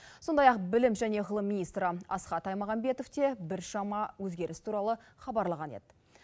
сондай ақ білім және ғылым министрі асхат аймағамбетов те біршама өзгеріс туралы хабарлаған еді